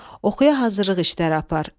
Oxuya hazırlıq işləri apar.